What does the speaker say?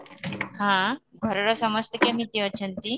ହଁ, ଘରର ସମସ୍ତେ କେମିତି ଅଛିନ୍ତି?